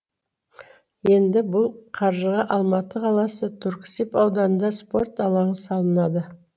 енді бұл қаржыға алматы қаласы түрксіб ауданында спорт алаңы салынады